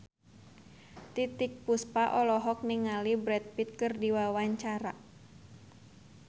Titiek Puspa olohok ningali Brad Pitt keur diwawancara